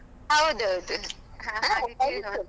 ಹೌದೌದು.